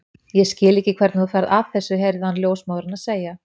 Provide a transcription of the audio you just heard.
Ég skil ekki hvernig þú ferð að þessu heyrði hann ljósmóðurina segja.